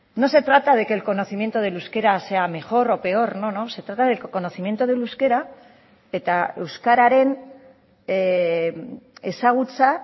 no se trata de que el conocimiento del euskera sea mejor o peor no no se trata del conocimiento del euskera eta euskararen ezagutza